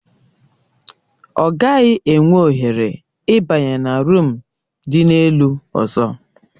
Ọ gaghị enwe ohere ịbanye na ruumu dị n'elu ọzọ